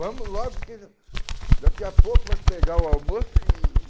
Vamos logo, porque já daqui a pouco vai pegar o almoço e...